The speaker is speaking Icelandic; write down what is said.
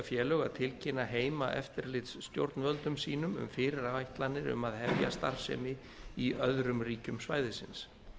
að tilkynna heimaeftirlitsstjórnvöldum sínum um fyrirætlanir um að hefja starfsemi í öðrum ríkjum svæðisins